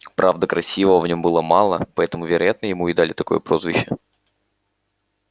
правда красивого в нем было мало поэтому вероятно ему и дали такое прозвище